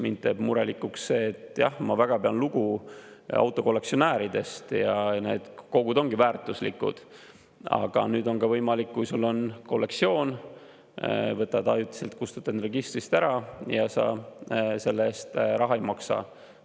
Mind teeb murelikuks ka see, et jah, ma pean lugu autokollektsionääridest ja need kogud ongi väärtuslikud, aga nüüd on ka võimalik, kui sul on kollektsioon, et kustutad ajutiselt registrist ära ja selle eest raha ei maksa.